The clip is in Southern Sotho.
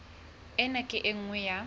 ena ke e nngwe ya